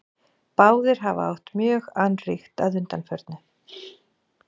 Báðir hafa átt mjög annríkt að undanförnu.